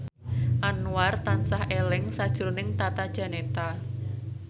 Anwar tansah eling sakjroning Tata Janeta